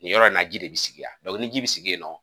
Nin yɔrɔ in na ji de bi sigi yan ni ji be sigi yen nɔ